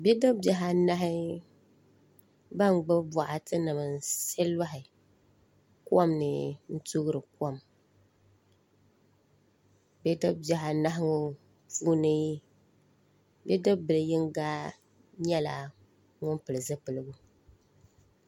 Bidib bihi anahi ban gbubi boɣati nim n siɣu loɣi kom ni n toori kom bidib bihi anahi ŋo puuni bidib bili yinga nyɛla ŋun pili zipiligu